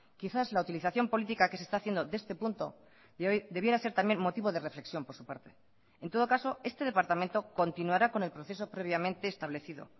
quizás la utilización política que se está haciendo de este punto debiera ser también motivo de reflexión por su parte en todo caso este departamento continuará con el proceso previamente establecido